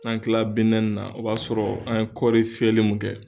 An tila na o b'a sɔrɔ an ye kɔɔri fiyɛli mun kɛ